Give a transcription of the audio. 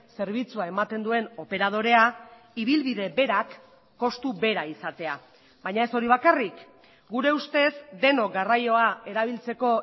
zerbitzua ematen duen operadorea ibilbide berak kostu bera izatea baina ez hori bakarrik gure ustez denok garraioa erabiltzeko